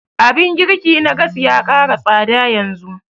Abun girki na gas ya ƙara tsada yanzu